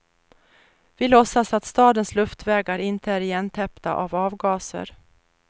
Vi låtsas att stadens luftvägar inte är igentäppta av avgaser.